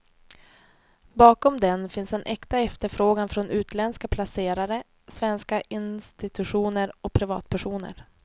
Bakom den finns en äkta efterfrågan från utländska placerare, svenska institutioner och privatpersoner.